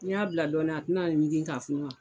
N'i y'a bila dɔɔni a tɛna ɲigin ka funun wa.